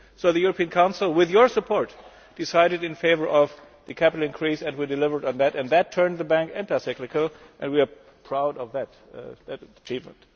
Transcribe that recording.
So the European Council, with your support, decided in favour of the capital increase and we delivered on that. That turned the Bank anti cyclical and we are proud of that achievement.